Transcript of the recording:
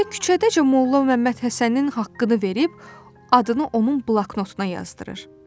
Elə küçədəcə Molla Məmmədhəsənin haqqını verib, adını onun bloknotuna yazdırır.